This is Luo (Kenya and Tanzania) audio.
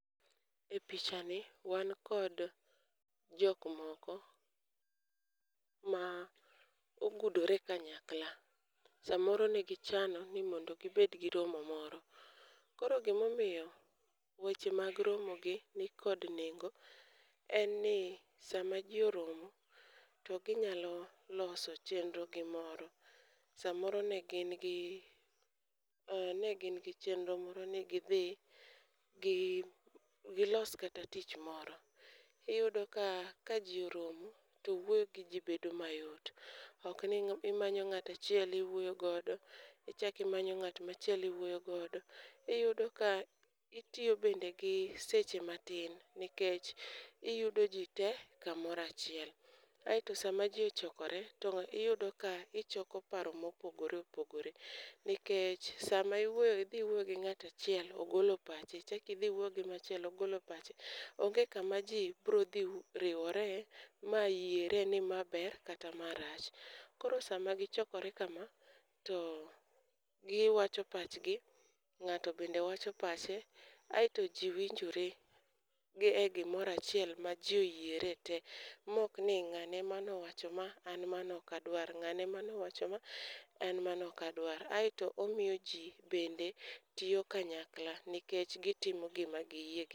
E picha ni wan kod jok moko ma ogudore kanyakla .Samoro negi chano ni mondo gibed gi romo moro. Koro gimomiyo weche mag romo gi nikod nengo en ni sama jii oromo to ginyalo loso chenro gi moro. Samoro ne gin gi ne gin gi chenro moro ni gidhi gi gilos kata tich moro iyudo ka ka jii oromo to wuoyo gi jii bedo mayot ok ni imanyo ng'ata chiel iwuoyo godo ichak imanyo ng'at machielo iwuoyo godo. Iyudo ka itiyo bende gi seche matin nikech iyudo jii tee kamora chiel. Aeto sama jii ochokore to iyudo ka ng'a ichoko paro mopogore opogore nikech sama iwuoyo gi dhi wuoyo gi ng'ata chiel ogolo pache ichaki idhi iwuoyo gi machielo ogolo pache. Onge kama jii bro dhi riwore ma yiere ni ma ber kata ma rach. Koro sama gichokore kama to giwacho pachgi ng'ato bende wacho pache. Aeto jii winjore e gimorachiel ma jii oyiere tee mok ni ng'ane emowacho ma an mano ok adwar ng'ane mo wacho ma an mano ok adwar .Aeto omiyo jii bende tiyo kanyakla nikech gitimo gima giyie